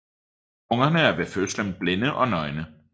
Ungerne er ved fødslen blinde og nøgne